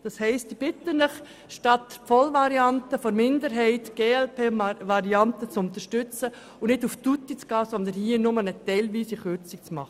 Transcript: Ich bitte Sie also, statt die volle Variante der FiKo-Minderheit die Variante der glp zu unterstützen und nicht auf tutti zu gehen, sondern nur eine teilweise Kürzung vorzunehmen.